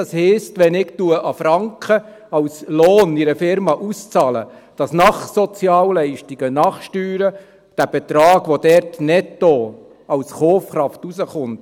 Das heisst, wenn ich 1 Franken als Lohn in einer Firma auszahle, kommt nach Abzug der Sozialleistungen und der Steuern netto als Kaufkraft ein Betrag raus.